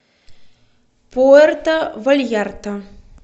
пуэрто вальярта